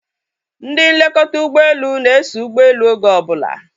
Ndị nlekọta ụgbọelu na-eso ụgbọelu oge obula